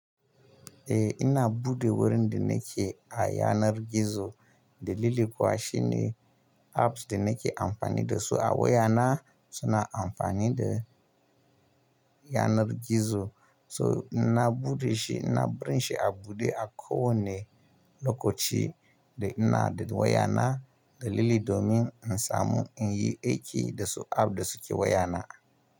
Eh ina buɗe wurin da nake a yanar gizo dalili kuwa shine apps da nake amfani da su a wayana suna amfani da yanar gizo. So ina buɗe shi ina barin shi a buɗe a kowanne lokaci da ina da wayana dalili domin in samu in yi aiki da su app da suke wayana.